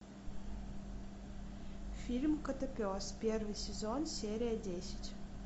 фильм котопес первый сезон серия десять